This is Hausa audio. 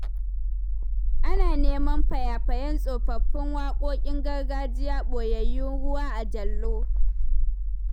Ana nema faya-fayen tsofaffin waƙoƙin gargajiya ɓoyayyu ruwa a jallo